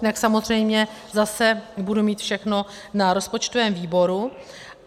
Jinak samozřejmě zase budu mít všechno na rozpočtovém výboru.